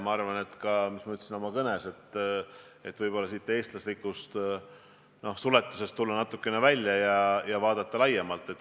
Ma arvan, et tuleb võib-olla oma eestlaslikust suletusest natukene välja tulla ja vaadata laiemat pilti.